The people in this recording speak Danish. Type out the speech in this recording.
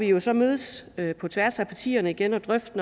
jo så mødes på tværs af partierne igen og drøfte